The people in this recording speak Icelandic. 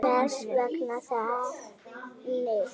Hvers vegna þetta efni?